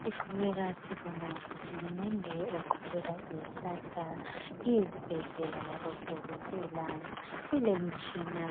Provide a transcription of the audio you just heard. siqhubeka sibonga uhulumende oqhubeka ehlasa izibhedlela labo dokotela kulemtshina